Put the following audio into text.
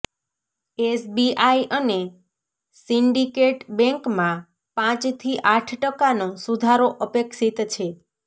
SBI અને Syndicate બેન્કમાં પાંચથી આઠ ટકાનો સુધારો અપેક્ષીત છે